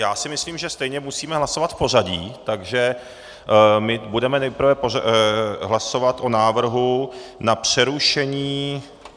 Já si myslím, že stejně musíme hlasovat v pořadí, takže my budeme nejprve hlasovat o návrhu na přerušení...